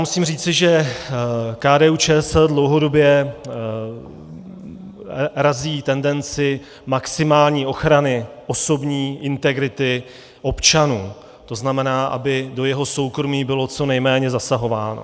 Musím říci, že KDU-ČSL dlouhodobě razí tendenci maximální ochrany osobní integrity občana, to znamená, aby do jeho soukromí bylo co nejméně zasahováno.